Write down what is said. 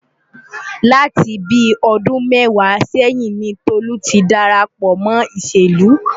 Láti bíi ọdún mẹ́wàá sẹ́yìn ni Tolú ti darapọ̀ mọ́ ìṣèlú.